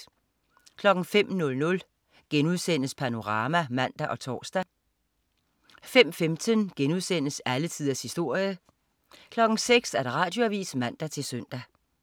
05.00 Panorama* (man og tors) 05.15 Alle tiders historie* 06.00 Radioavis (man-søn)